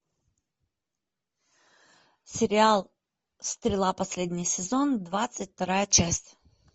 сериал стрела последний сезон двадцать вторая часть